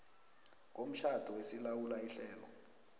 komtjhado esilawula ihlelo